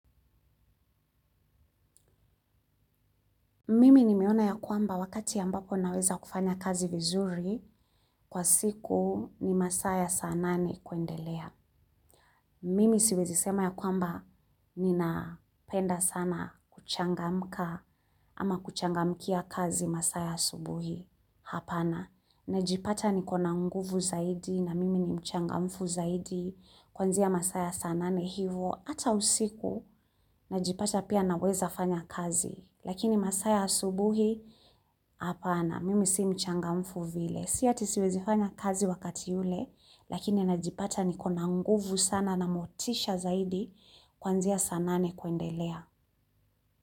Mimi nimeona ya kwamba wakati ambapo naweza kufanya kazi vizuri kwa siku ni masaa ya saa nane kuendelea. Mimi siwezi sema ya kwamba ninapenda sana kuchangamka ama kuchangamkia kazi masaa ya asubuhi, hapana. Najipata nikona nguvu zaidi na mimi ni mchangamfu zaidi kuanzia masaa ya saa nane hivo ata usiku najipata pia naweza fanya kazi. Lakini masaa ya asubuhi, hapana, mimi sii mchangamfu vile. Si ati siwezi fanya kazi wakati yule, lakini najipata nikona nguvu sana na motisha zaidi kuanzia saa nane kuendelea.